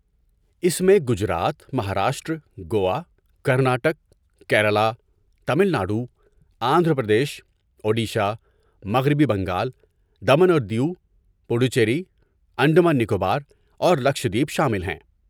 اس میں گجرات، مہاراشٹر، گوا، کرناٹک، کیرالہ، تامل ناڈو، آندھرا پردیش، اوڈیشہ، مغربی بنگال، دمن اور دیو، پڈوچیری، انڈمان نکوبار اور لکشدیپ شامل ہیں۔